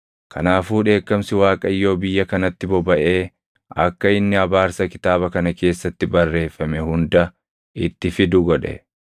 Kanaafuu dheekkamsi Waaqayyoo biyya kanatti bobaʼee akka inni abaarsa kitaaba kana keessatti barreeffame hunda itti fidu godhe.